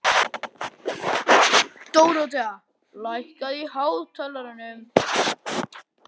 Dorothea, lækkaðu í hátalaranum.